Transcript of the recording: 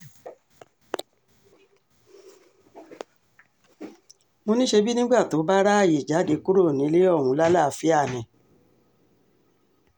mo ní ṣebí nígbà tó bá ráàyè jáde kúrò nílé ohun lálàáfíà ni